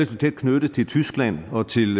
tæt knyttet til tyskland og til